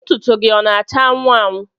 Ntụtụ gị ọ na-acha anwụ anwụ?